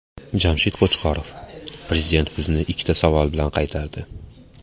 Jamshid Qo‘chqorov: Prezident bizni ikkita savol bilan qaytardi.